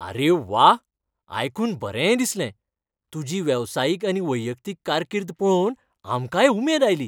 अरे व्वा, आयकून बरें दिसलें. तुजी वेवसायीक आनी वैयक्तीक कारकीर्द पळोवन आमकांय उमेद आयली.